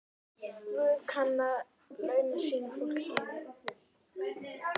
Guð kann að launa sínu fólki.